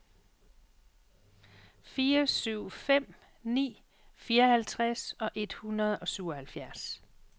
fire syv fem ni fireoghalvtreds et hundrede og syvoghalvfjerds